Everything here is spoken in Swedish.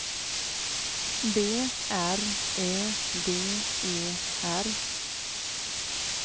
B R Ö D E R